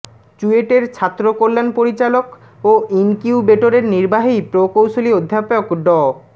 চুয়েটের ছাত্রকল্যাণ পরিচালক ও ইনকিউবেটরের নির্বাহী প্রকৌশলী অধ্যাপক ড